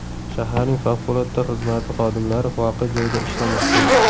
Shaharning favqulodda xizmati xodimlari voqea joyida ishlamoqda.